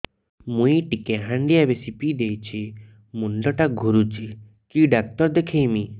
ମୁଇ ଟିକେ ହାଣ୍ଡିଆ ବେଶି ପିଇ ଦେଇଛି ମୁଣ୍ଡ ଟା ଘୁରୁଚି କି ଡାକ୍ତର ଦେଖେଇମି